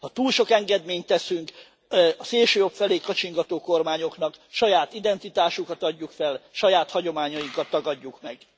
Ha túl sok engedményt teszünk a szélsőjobb felé kacsingató kormányoknak, saját identitásunkat adjuk fel, saját hagyományainkat tagadjuk meg.